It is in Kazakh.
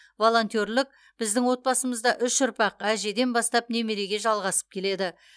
волонтерлік біздің отбасымызда үш ұрпақ әжеден бастап немереге жалғасып келеді